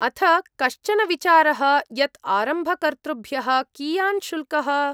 अथ कश्चन विचारः यत् आरम्भकर्तृभ्यः कियान् शुल्कः?